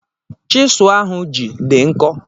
chịsụ ọ ahụ ji dị nkọ